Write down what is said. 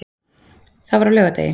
Það var á laugardegi.